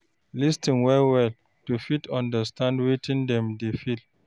Lis ten well well to fit understand wetin dem dey feel